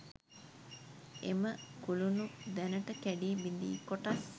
එම කුළුණු දැනට කැඩී බිඳී කොටස්